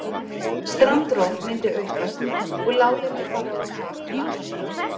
Strandrof myndi aukast og láglendi fara á kaf um allan heim.